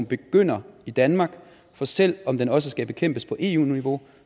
begynder i danmark for selv om det også skal bekæmpes på eu niveau